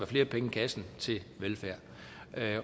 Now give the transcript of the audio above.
flere penge i kassen til velfærd